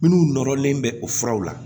Minnu nɔrɔlen bɛ o furaw la